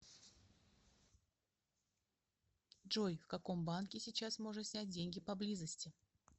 джой в каком банке сейчас можно снять деньги поблизости